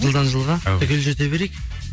жылдан жылға түгел жете берейік